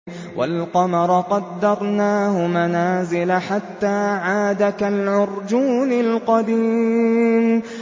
وَالْقَمَرَ قَدَّرْنَاهُ مَنَازِلَ حَتَّىٰ عَادَ كَالْعُرْجُونِ الْقَدِيمِ